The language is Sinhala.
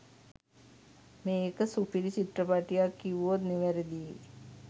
මේක සුපිරි චිත්‍රපටියක් කිව්වොත් නිවැරදියි.